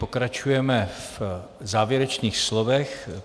Pokračujeme v závěrečných slovech.